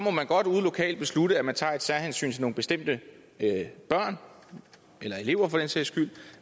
at man godt ude lokalt må beslutte at man tager et særhensyn til nogle bestemte børn eller elever for den sags skyld